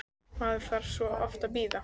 Maður þarf svo oft að bíða!